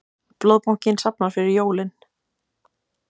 Blóðbankinn safnar fyrir jólin